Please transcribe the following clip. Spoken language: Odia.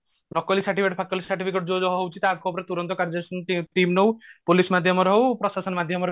ନକଲି certificate ଫକଲି certificate ଯୋଉ ଯାହା ହଉଛି ତାଙ୍କ ଉପରେ ତୁରନ୍ତ କାର୍ଯ୍ୟାନୁଷ୍ଠାନ team ଣଔ police ମାଧ୍ୟମରେ ହଉ ପ୍ରଶାସନ ମାଧ୍ୟମରେ